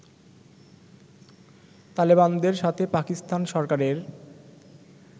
তালেবানদের সাথে পাকিস্তান সরকারের